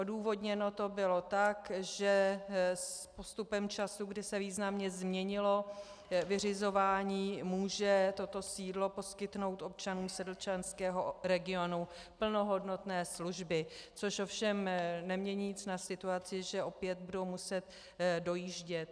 Odůvodněno to bylo tak, že s postupem času, kdy se významně změnilo vyřizování, může toto sídlo poskytnout občanům sedlčanského regionu plnohodnotné služby, což ovšem nemění nic na situaci, že opět budou muset dojíždět.